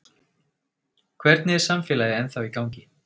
Hvernig er samfélagið ennþá í gangi?